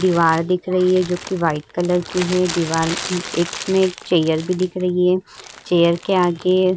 दीवार दिख रही है जोकि वाइट कलर की है। दिवार एक इसमें चेयर भी दिख रही है। चेयर के आगे --